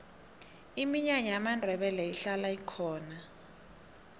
iminyanya yamandebele ihlala ikhona